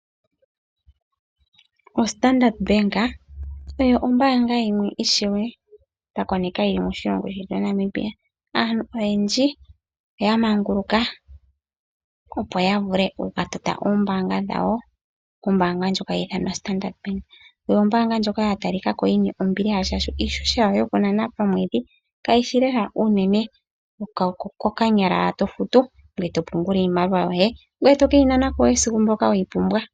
OStandrd Bank oyo ombaanga yimwe ishewe twa koneka yi li moshilongo shetu Namibia. Aantu oyendji oya manguluka, opo ya vule oku ka tota omayalulo gawo gombaanga kombaanga ndjoka hayi ithanwa Standard Bank. Oyo ombaanga ndjoka ya talika ko yi na ombiliha, oshoka iihohela yawo yokunana komwedhi kayi shi naanaa oyindji, ihe okokanyala owala to futu, ngoye to punula iimaliwa yoye. Ngoye to ke yi nana ko wo esiku weyi pumbwa.